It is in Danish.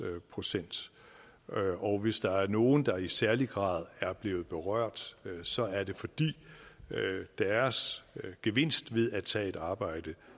procent og hvis der er nogle der i særlig grad er blevet berørt så er det fordi deres gevinst ved at tage et arbejde